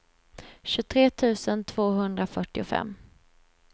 tjugotre tusen tvåhundrafyrtiofem